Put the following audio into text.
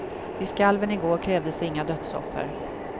Vid skalven i går krävdes inga dödsoffer.